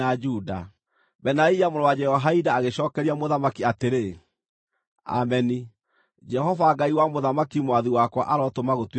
Benaia mũrũ wa Jehoiada agĩcookeria mũthamaki atĩrĩ, “Ameni! Jehova, Ngai wa mũthamaki mwathi wakwa arotũma gũtuĩke guo.